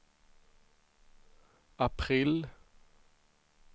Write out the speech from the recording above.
april